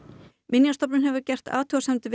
minjastofnun hefur gert athugasemdir